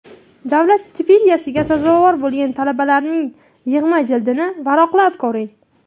Davlat stipendiyasiga sazovor bo‘lgan talabalarning yig‘ma jildini varaqlab ko‘ring.